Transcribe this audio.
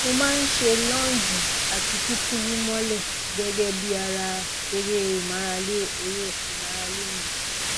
mo má a ń ṣe lọọnjì àti kíkúrú mọlẹ gẹgẹ bí ara eré ìmárale eré ìmárale mi